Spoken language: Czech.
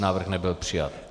Návrh nebyl přijat.